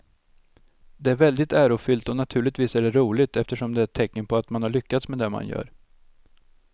Det är väldigt ärofyllt och naturligtvis är det roligt eftersom det är ett tecken på att man har lyckats med det man gör.